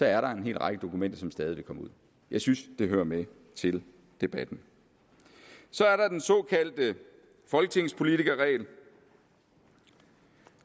er der en hel række dokumenter som stadig vil komme ud jeg synes det hører med til debatten så er der den såkaldte folketingspolitikerregel